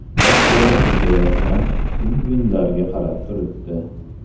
Yosh bola suzayotgan pingvinlarga qarab turibdi.